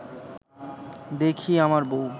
দেখি আমার বউ